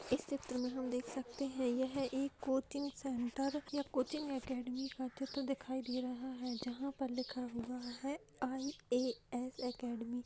इस चित्र में हम देख सकते हैं यह एक कोचिंग सेंटर या कोचिंग अकेडमी का चित्र दिखाई दे रहा है जहाँ पर लिखा हुआ है आई.ए.एस. अकेडमी ।